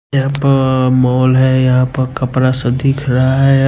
यहां पर मॉल है यहां पर कपड़ा सा दिख रहा है।